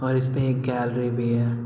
और इसमें गैलरी भी है।